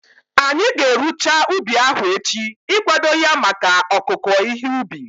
Anyị ga-erucha ubi ahu echi ikwado ya maka ọkụku ihe ubi